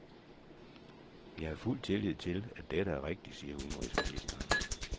Jeg har fuld tillid til, at dette er rigtigt, siger udenrigsministeren.